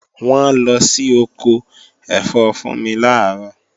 Wọ́n lọ sí ọkọ ẹ̀fọ́ Fúnmi làárọ̀